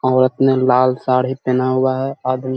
औरत ने लाल साड़ी पहना हुआ है आदमी --